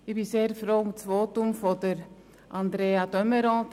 Ich bin sehr froh um das Votum von Andrea de Meuron.